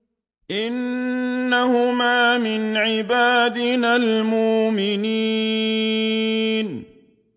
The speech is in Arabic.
إِنَّهُمَا مِنْ عِبَادِنَا الْمُؤْمِنِينَ